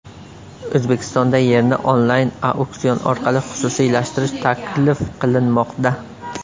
O‘zbekistonda yerni onlayn-auksion orqali xususiylashtirish taklif qilinmoqda.